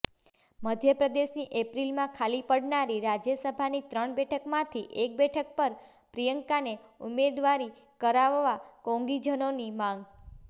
મધ્યપ્રદેશની એપ્રિલમાં ખાલી પડનારી રાજયસભાની ત્રણ બેઠકમાંથી એક બેઠક પર પ્રિયંકાને ઉમેદવારી કરાવવા કોંગીજનોની માંગ